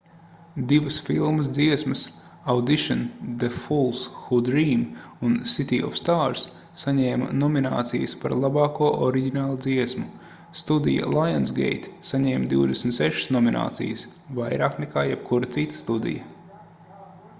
divas filmas dziesmas — audition the fools who dream un city of stars — saņēma nominācijas par labāko oriģināldziesmu. studija lionsgate saņēma 26 nominācijas — vairāk nekā jebkura cita studija